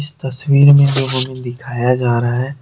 तस्वीर में दिखाया जा रहा है।